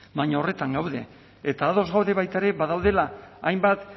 baina horretan gaude eta ados gaude baita ere badaudela hainbat